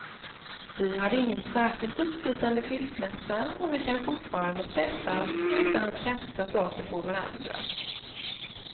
Vi hade ingen särskilt uppslitande skilsmässa, och vi kan fortfarande träffas utan att kasta saker på varandra.